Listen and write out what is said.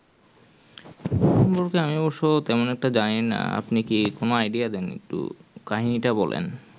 হবে আমি অব্যসহ তেমন ওটা জানি না আপনি কি কোনো ও idea দেন একটু কাহিনী টা বলেন